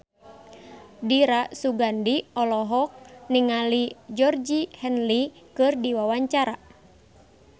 Dira Sugandi olohok ningali Georgie Henley keur diwawancara